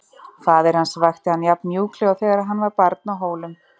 Faðir hans vakti hann jafn mjúklega og þegar hann var barn á Hólum.